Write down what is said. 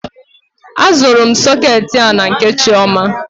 A zụrụ m soketi a na nke Chioma.